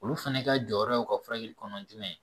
Olu fana ka jɔyɔrɔ ye u ka furakɛli kɔnɔ jumɛn ye